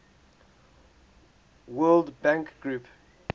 world bank group